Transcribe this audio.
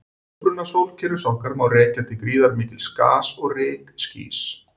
Uppruna sólkerfis okkar má rekja til gríðarmikils gas- og rykskýs.